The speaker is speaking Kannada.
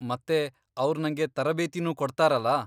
ಮತ್ತೆ ಅವ್ರ್ ನಂಗೆ ತರಬೇತಿನೂ ಕೊಡ್ತಾರಲ.